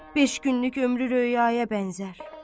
Beş günlük ömrü röyaya bənzər.